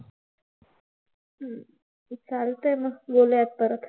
हम्म चालतंय मग. बोलूया परत.